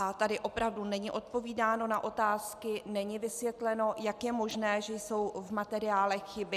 A tady opravdu není odpovídáno na otázky, není vysvětleno, jak je možné, že jsou v materiálech chyby.